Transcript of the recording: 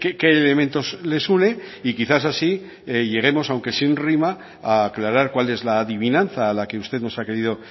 qué elementos les une y quizás así lleguemos aunque sin rima a aclarar cuál es la adivinanza a la que usted nos ha querido